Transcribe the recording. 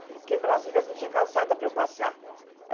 Porque em Brasília não tinha calçada para eu passear.